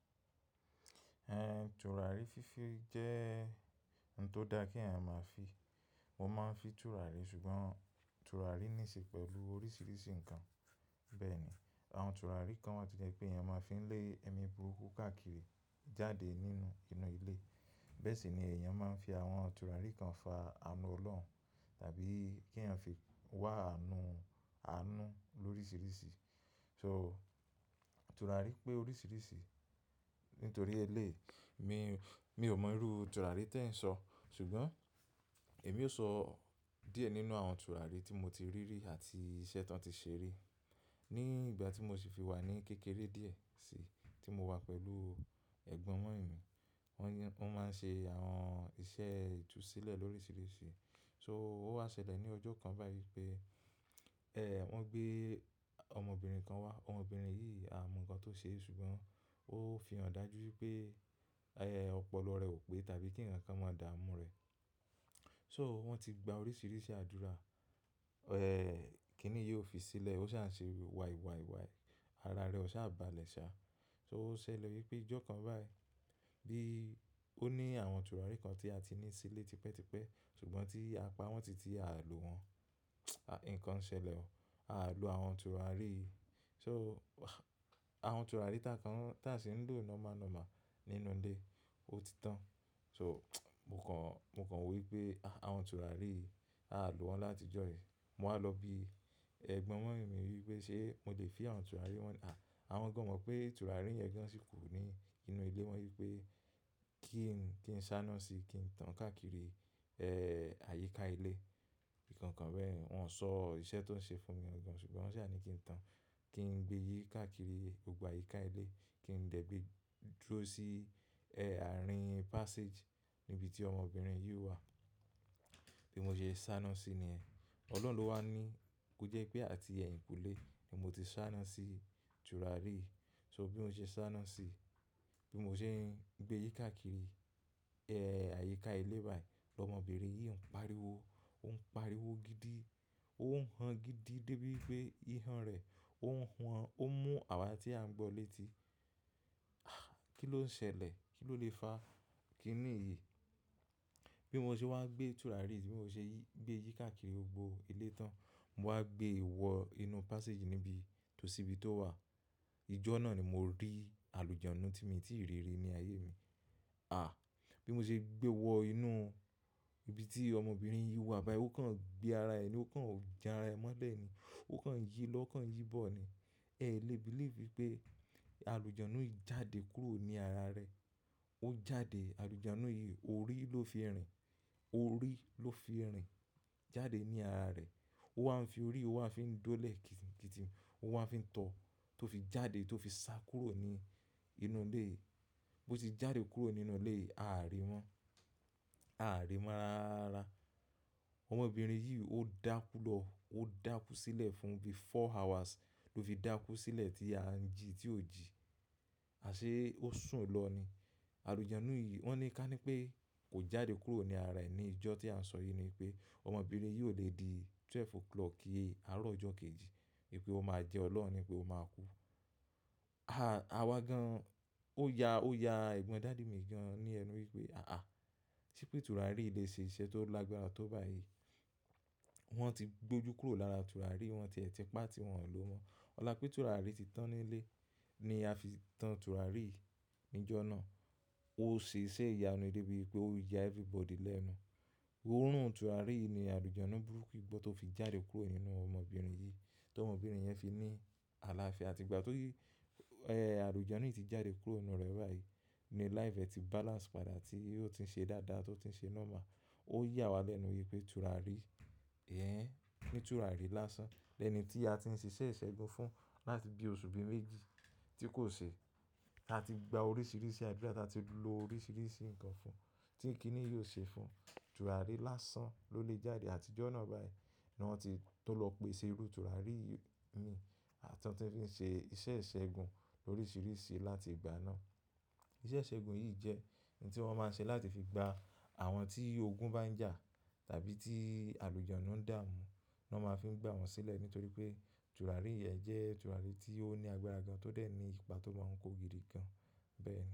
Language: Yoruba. Ẹn, tùràrí fífi jẹ́ ohun tó da kí ẹ̀yàn máa fi. Mo máa ń fi tùràrí ṣùgbọ́n tùràrí níṣe pẹ̀lú oríṣiríṣi nǹkan. Bẹ́ẹ̀ ni àwọn tùràrí kan wà tí ẹni pé ẹ̀yàn máa ń fi lé ẹmi burú kàkiri jáde nínú inú ilé. Bẹ́ẹ̀ sì ni ẹ̀yàn máa ń fi àwọn tùràrí kan fa àánú Ọlọ́run tàbí kí ẹ̀yàn fi wá àánú àánú lóríṣiríṣi. So tùràrí pé oríṣiríṣi nítorí eléyi mi, mi ò mọ irú tùràrí tí ẹ ń sọ ṣùgbọ́n èmi ó sọ díẹ̀ nínú àwọn tùràrí tí mo ti rí rí àti iṣẹ́ tí wọ́n ti ṣe rí. Ni ìgbà tí mo sì fi wà ní kékeré díẹ̀ sí, tí mo wà pẹ̀lú ẹ̀gbọ́n mumy mi, wọ́n máa ń ṣe àwọn iṣẹ́ ìtúsílẹ̀ lóríṣiríṣi. So ó wá ṣẹlẹ̀ ní ọjọ́ kan báyìí pé, eh wọ́n gbé ọmọbìnrin kan wá. Ọmọbìnrin yìí a ò mọ nǹkan tó ṣe e ṣùgbọ́n ó fi hàn dájú pé, ẹhn! Ọpọlọ rẹ̀ ò pé tàbí kí ǹkan kan máa dààmú rẹ̀. So wọ́n ti gba oríṣiríṣi àdúrà, eh kíni yóò fi sílẹ̀, ó ṣà ń ṣe wàì wàì wàì, ara rẹ̀ ó ṣà balẹ̀ sá. So ó ṣẹlẹ̀ wípé ìjọ kan báyìí bí ó ní àwọn tùràrí kan tí a ti ní sílé tipẹ́tipẹ́ ṣùgbọ́n tí a pa wọ́n titi à ló wọn, nǹkan ṣẹlẹ̀ o. À ló àwọn tùràrí. So àwọn tùràrí táa kan, táa sì ń lò nọ́mà nọ́mà nínú ilé ó ti tán. So mo kàn, mo kàn wí pé àwọn tùràrí yìí à ló wọn láti ìjọ yí. Mo wá lọ bí ẹ̀gbọ́n mumy mi wí pé ṣé mo lè fin àwọn tùràrí wọn yi. À, àwọn gan o mọ̀ pé tùràrí yẹn gan sì ku ní nínú ilé. Wọ́n wí pé kí n, kí n sáná síi, kí n tán káàkiri eh àyíká ilé, ìkankan bẹ́ẹ̀. Wọn sọ iṣẹ́ tó ń ṣe fún mi gan ṣùgbọ́n wọ́n ṣà ní kí n tán, kí n gbé yí káàkiri gbogbo àyíká ilé, kí n dẹ̀ gbé dúró sí eh àárín passage níbi tí ọmọbìnrin yìí wà. Bí mo ṣe sá náà sí ni ẹ, Ọlọ́run ló wá ní kó jẹ́ pé àti ẹ̀yìnkùlé ni mo ti sá náà sí tùràrí. So bí mo ṣe sá náà síi, bí mo ṣe ń gbé yí káàkiri eh àyíká ilé báyìí lọmọbìnrin yìí ń pariwo, ó ń pariwo gidi, ó ń han gidi dé bí pé ihàn rẹ̀ ó ń hun. Ó mú àwà tí a ń gbọ́ léti. Ah! Kí ló ń ṣẹlẹ̀? Kí ló lè fa? Kí ni èyí? Bí mo ṣe wá gbé tùràrí yìí, bí mo ṣe gbé yí káàkiri gbogbo ilé tán, mo wá gbé wọ inú passage níbi tó sí ibi tó wà. Ìjọ náà ni mo rí àlùjọnù tí mi tí ì rí rí ní ayé mi. Ah! Bí mo ṣe gbé wọ inú ibi tí ọmọbìnrin yìí wà báyìí ó kàn gbé ara ẹni, ó kàn jan ara ẹ mọ́lẹ̀ ni, ó kàn yí lọ ó kàn yí bọ̀ ni. Ẹ lè believe pé àlùjọnù yìí jáde kúrò ní ara rẹ̀. Ó jáde, àlùjọnù yìí orí ló fi rìn, orí ló fi rìn jáde ní ara rẹ̀. Ó wá ń fi orí, ó wá ń fi í dọ́lẹ̀ kítì kítì, ó wá ń fi í tọ, tó fi jáde tó fi sá kúrò ní inú ilé. Bí ó ti jáde kúrò nínú ilé a à rí i mọ́, a à rí i mọ́ rara. Ọmọbìnrin yìí ó dákú lọ, ó dákú sílẹ̀ fún bí four hours ló fi dákú sílẹ̀ tí a ń jí tí ò jí. A ṣé ó sùn lọ ni. Àlùjọnù yìí wọ́n ní ká ní pé kò jáde kúrò ní ara ẹ ni ìjọ tí à ń sọ yìí ni wípé ọmọbìnrin yìí ò lè di twelve o'clock yèé, àárọ̀ ọjọ́ kejì, wípé ó máa jẹ Ọlọ́run ní pé ó máa kú. Ah! Awá gan, ó ya, ó ya ẹ̀gbọ́n dáadáa mi gan ní ẹnu wípé "àáà, ṣé pé tùràrí yìí lè ṣe iṣẹ́ tó lágbára tó bá èyí?" Wọ́n ti gbójú kúrò lára tùràrí, wọ́n ti ẹ̀ ti pa tí wọ́n ò lò mọ́. Ọ̀la pé tùràrí ti tán nílé ni a fi tán tùràrí yìí níjọ́ náà. Ó ṣe iṣẹ́ ìyanu dé bí pé ó ya everybody lẹ́nu. Orún tùràrí yìí ni àlùjọnù burúkú gbọ́ tó fi jáde kúrò inú ọmọbìnrin yìí, tí ọmọbìnrin yẹn fi ní àlàáfíà. Àti ìgbà tó yí, eh àlùjọnù yìí ti jáde kúrò inú rẹ̀ báyìí ni life ẹ ti balance padà tí ó ti ń ṣe dáadáa, tó ti ń ṣe normal. Ó yà wa lẹ́nu wípé tùràrí, ẹhn, ní tùràrí lásán. Lẹ́ẹ̀nì tí a ti ń ṣe iṣẹ́ ìṣẹ́gun fún láti bí oṣù bí méjì tí kò ṣe. A ti gba oríṣiríṣi àdúrà, táa ti lo oríṣiríṣi nǹkan fún tí ì kíni yóò ṣe fún. Tùràrí lásán ló lé jáde àti ìjọ náà báyìí ni wọ́n ti, tó lọ pèsè irú tùràrí yìí ni àti tí wọ́n fi ń ṣe iṣẹ́ ìṣẹ́gun lóríṣiríṣi láti ìgbà náà. Iṣẹ́ ìṣẹ́gun yìí jẹ́ ohun tí wọ́n máa ń ṣe láti fi gba àwọn tí ogun bá ń jà tàbí tí àlùjọnù ń dààmú, ni wọ́n máa ń fi gba wọn sílẹ̀ nítorí pé tùràrí yìí jẹ́ tùràrí tí ó ní agbára gan, tó dẹ̀ ní ipa tó máa ń kó gidi gan. Bẹ́ẹ̀ ni.